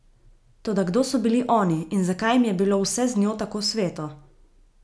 Toda kdo so bili oni in zakaj jim je bilo vse z njo tako sveto?